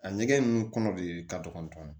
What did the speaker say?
A ɲɛgɛn ninnu kɔnɔ de ka dɔgɔn